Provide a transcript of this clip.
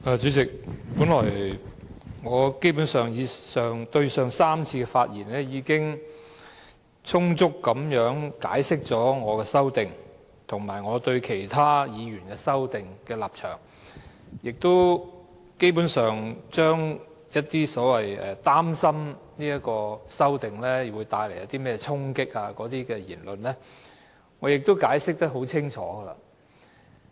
主席，本來我前3次發言已充分解釋了我的修正案，以及我對其他議員的修正案的立場，也基本上就着所謂擔心修正案可能帶來衝擊的言論作出非常清楚的解釋。